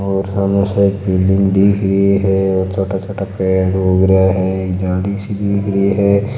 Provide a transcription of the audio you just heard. और सामने एक बिलडिंग दिख रही है और छोटा छोटा पेड़ उग रहा है जाली सी दिख रही है।